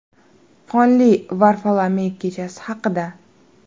Qonli Varfolomey kechasi haqida.